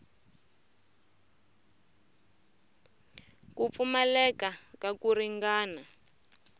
ku pfumaleka ka ku ringana